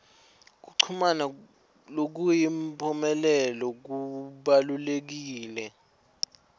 kuchumana lokuyimphumelelo kubalulekile